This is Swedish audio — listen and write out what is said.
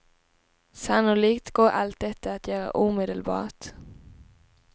Sannolikt går allt detta att göra omedelbart.